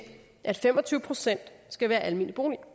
at fem og tyve procent skal være almene boliger